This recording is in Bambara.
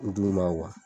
d'u ma